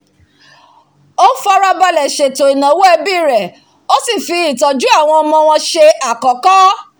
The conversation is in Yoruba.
o farabalẹ̀ sètò ìnáwó ẹbí rẹ̀ ó sì fi owó ìtọ́jú àwọn ọmọ wọn se àkọ́kọ́